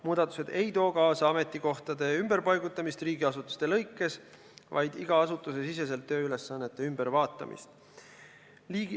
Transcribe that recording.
Muudatused ei too kaasa riigiasutuste ametikohtade ümberpaigutamist, vaid iga asutuse siseste tööülesannete ümberkorraldamist.